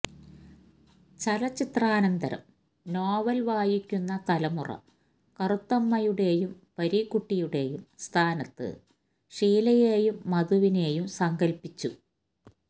ചലച്ചിത്രാനന്തരം novel വായിക്കുന്ന തലമുറ കറുത്തമ്മയുടെയും പരീക്കുട്ടിയുടെയും സ്ഥാനത്ത് ഷീലയെയും മധുവിനെയും സങ്കല്പ്പിച്ചു